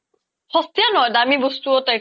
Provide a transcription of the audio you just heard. শশ্তিয়া নহয় দামি বস্তু ও